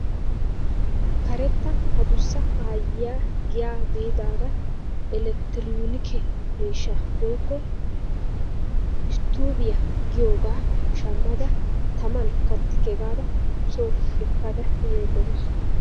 Karetta adussa ayiyaa giyaa biidara elekteroonike miishshaa woykko isttoobiyaa giyoogaa shaammada taman kaatikke gaada soo ekkada yayda de'awus.